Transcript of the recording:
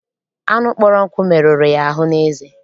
Anụ kpọrọ nkụ meruru ya ahụ n'eze.